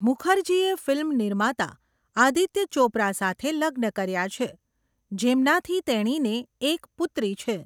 મુખર્જીએ film નિર્માતા આદિત્ય ચોપરા સાથે લગ્ન કર્યા છે, જેમનાથી તેણીને એક પુત્રી છે.